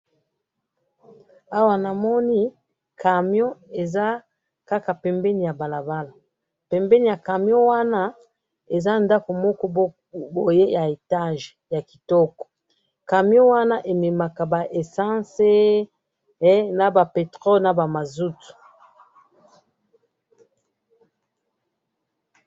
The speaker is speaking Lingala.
awa namoni camion eza kaka pembeni ya balabala, pembeni ya camion wana eza ndaku moko boye ya etage ya kitoko camion wana ememaka ba essence naba petrol naba mazout